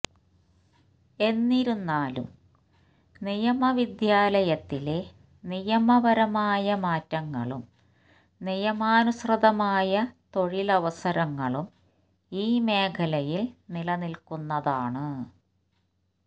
എന്നിരുന്നാലും നിയമവിദ്യാലയത്തിലെ നിയമപരമായ മാറ്റങ്ങളും നിയമാനുസൃതമായ തൊഴിലവസരങ്ങളും ഈ മേഖലയിൽ നിലനിൽക്കുന്നതാണ്